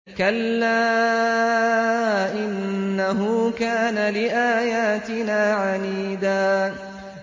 كَلَّا ۖ إِنَّهُ كَانَ لِآيَاتِنَا عَنِيدًا